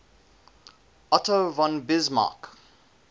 otto von bismarck